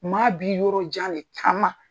Maa bi yɔrɔ jan de taama.